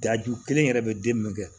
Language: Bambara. Daju kelen yɛrɛ bɛ den min kɛ